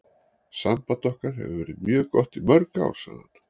Samband okkar hefur verið mjög gott í mörg ár, sagði hann.